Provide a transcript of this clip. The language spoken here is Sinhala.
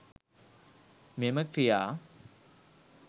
මෙම ක්‍රියා